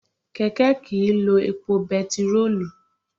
Kẹ̀kẹ́ kìí lo epo bẹntiróòlù.